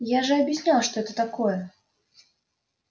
я же объяснял что это такое